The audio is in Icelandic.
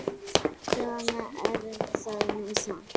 Svona er það nú samt.